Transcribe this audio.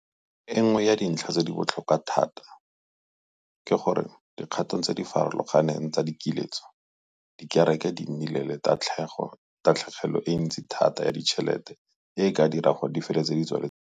Enngwe ya dintlha tse di botlhokwa thata ke gore mo dikgatong tse di farologaneng tsa dikiletso, dikereke di nnile le tatlhegelo e ntsi thata ya ditšhelete e e ka dirang gore di feletse di tswaletse ruri.